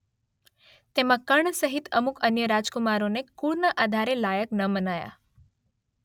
તેમાં કર્ણ સહિત અમુક અન્ય રાજકુમારોને કુળના આધારે લાયક ન મનાયા.